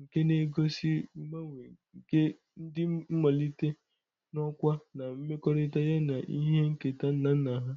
nke na-egosi ngbanwe nke ndi nmalite n'okwa na mmekorita ya na ihe nketa nna nna ha.